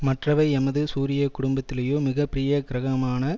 மற்றவை எமது சூரிய குடும்பத்திலேயோ மிக பெரிய கிரகமான